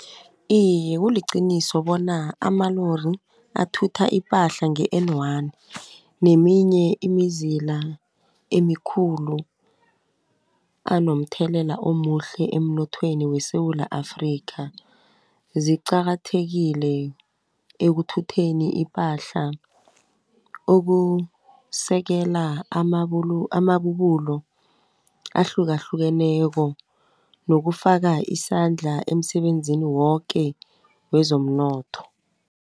Iye kuliqiniso bona amalori athutha ipahla nge-N one neminye imizila emikhulu, anomthelela omuhle emnothweni weSewula Afrika. Ziqakathekile ekuthutheni ipahla, ukusekela amabubulo ahlukahlukeneko, nokufaka isandla emsebenzini woke wezomnotho.